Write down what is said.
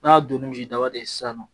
N'a donn'i ni misi daba de ye sisan nɔ